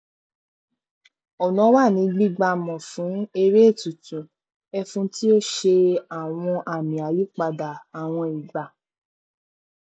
ọnà wà ní gbígbá mọ fún eré ètùtù ẹfun tí ó ṣe àwọn àmì àyípadà àwọn ìgbà